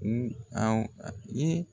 a ye